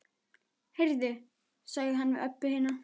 Heyrðu, sagði hann við Öbbu hina.